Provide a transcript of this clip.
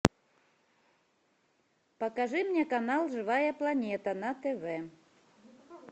покажи мне канал живая планета на тв